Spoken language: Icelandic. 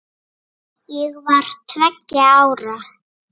Ég var tveggja ára.